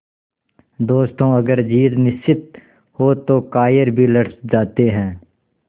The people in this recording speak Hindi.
दोस्तों अगर जीत निश्चित हो तो कायर भी लड़ जाते हैं